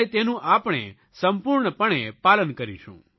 અને તેનું આપણે સંપૂર્ણપણે પાલન કરીશું